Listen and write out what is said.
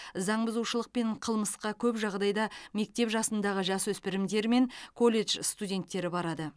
заңбұзушылық пен қылмысқа көп жағдайда мектеп жасындағы жасөспірімдер мен колледж студенттері барады